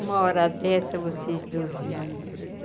Uma hora dessa vocês dormindo.